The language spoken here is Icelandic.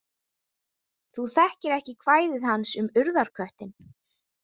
Þú þekkir ekki kvæði hans um Urðarköttinn?